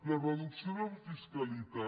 la reducció de la fiscalitat